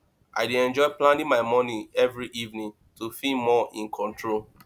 i dey enjoy planning my morning every evening to feel more in control